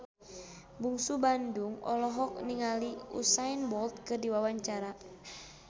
Bungsu Bandung olohok ningali Usain Bolt keur diwawancara